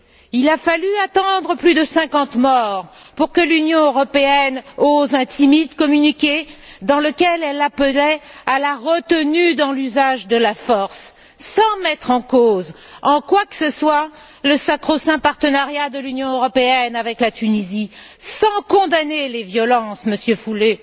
Il a fallu plus de cinquante morts pour que l'Union européenne ose un timide communiqué dans lequel elle appelait à la retenue dans l'usage de la force sans mettre en cause en quoi que ce soit le sacro saint partenariat de l'Union européenne avec la Tunisie, sans condamner les violences, Monsieur Füle,